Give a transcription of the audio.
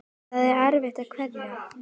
Það er erfitt að kveðja.